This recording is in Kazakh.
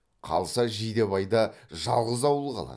қалса жидебайда жалғыз ауыл қалады